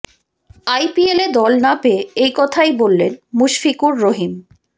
আইপিএলে দল না পেয়ে এই কথাই বললেন মুশফিকুর রহিম